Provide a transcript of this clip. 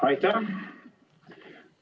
Aitäh!